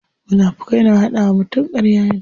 Munafukai na hada wa mutum karya ne.